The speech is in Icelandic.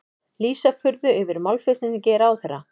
Lýsa furðu yfir málflutningi ráðherra